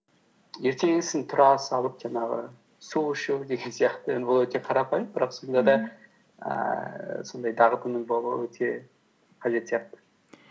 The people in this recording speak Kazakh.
ертеңгісін тұра салып жаңағы су ішу деген сияқты енді бұл өте қарапайым бірақ сонда да ііі сондай дағдының болуы өте қажет сияқты